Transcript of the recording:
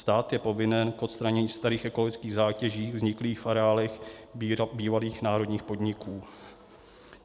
Stát je povinen k odstranění starých ekologických zátěží vzniklých v areálech bývalých národních podniků.